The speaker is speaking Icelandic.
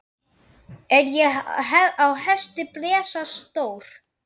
Er á hesti blesa stór.